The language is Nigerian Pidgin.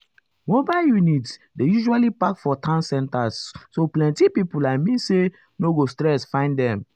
mobile units dey usually park for town center so plenty people i mean say no go stress find them.